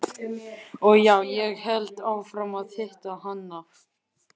Og já, ég hélt áfram að hitta hana.